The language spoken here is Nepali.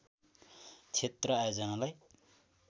क्षेत्र आयोजनालाई